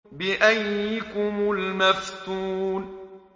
بِأَييِّكُمُ الْمَفْتُونُ